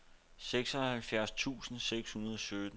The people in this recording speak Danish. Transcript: seksoghalvfjerds tusind seks hundrede og sytten